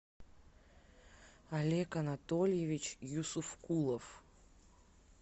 олег анатольевич юсуфкулов